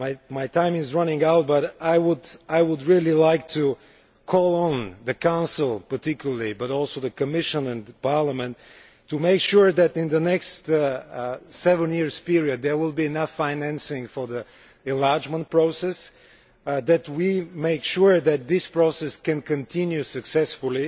My time is running out but I would really like to call on the Council, particularly, but also the Commission and the Parliament, to make sure that in the next seven year period there will be enough financing for the enlargement process and that we make sure that this process can continue successfully